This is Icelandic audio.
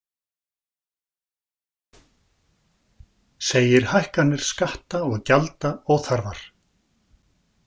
Segir hækkanir skatta og gjalda óþarfar